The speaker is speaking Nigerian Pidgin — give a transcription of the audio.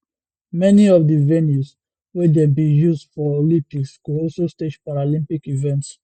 many of di venues wey dem bin use for olympics go also stage paralympic events